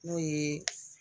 N'o ye